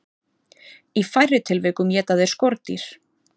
Í færri tilvikum éta þeir skordýr.